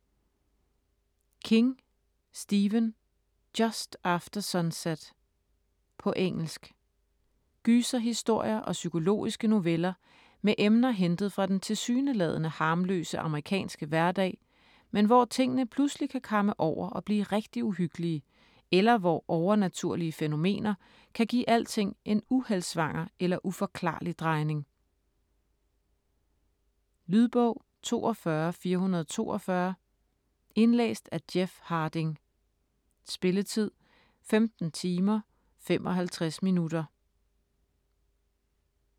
King, Stephen: Just after sunset På engelsk. Gyserhistorier og psykologiske noveller med emner hentet fra den tilsyneladende harmløse amerikanske hverdag, men hvor tingene pludselig kan kamme over og blive rigtig uhyggelige, eller hvor overnaturlige fænomener kan give alting en uheldsvanger eller uforklarlig drejning. Lydbog 42442 Indlæst af Jeff Harding Spilletid: 15 timer, 55 minutter.